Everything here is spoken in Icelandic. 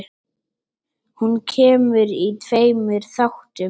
Hún kemur í tveimur þáttum.